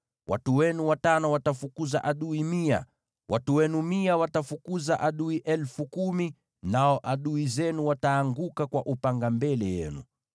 Watu wenu watano watafukuza adui mia, watu wenu mia watafukuza adui elfu kumi, nao adui zenu wataanguka kwa upanga mbele yenu.